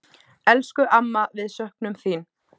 Elsku amma, við söknum þín.